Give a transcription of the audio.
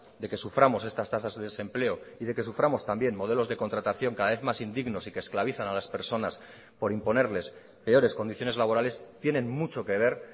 de que suframos estas tasas de desempleo y de que suframos también modelos de contratación cada vez más indignos y que esclavizan a las personas por imponerles peores condiciones laborales tienen mucho que ver